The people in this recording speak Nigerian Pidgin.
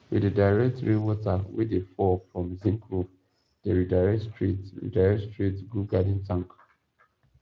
we dey direct rain water wey dey fall from zinc roof dey redirect straight redirect straight go garden tank